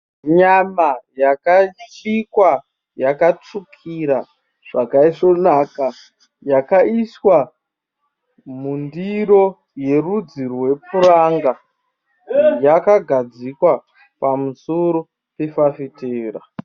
Nyama yakabikwa yakatsvukira zvakaisvonaka. Yakaiswa mundiro yerudzi rwepuranga. Yakagadzikwa pamusoro pefafitera.